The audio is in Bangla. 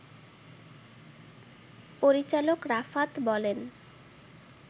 পরিচালক রাফাত বলেন